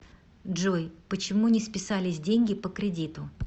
джой почему не списались деньги по кредиту